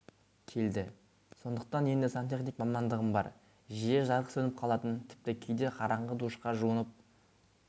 келді сондықтан енді сантехник мамандығым бар жиі жарық сөніп қалатын тіпті кейде қараңғы душқа жуынып